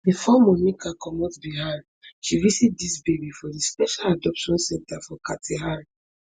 bifor monica comot bihar she visit dis baby for di special adoption centre for katihar